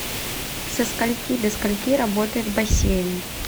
со скольки до скольки работает бассейн